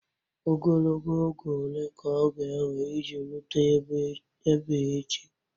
Ogologo oge ole ka ọ ga-ewe iji rute ebe a echi?